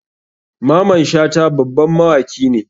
Maman shata baban mawaki ne.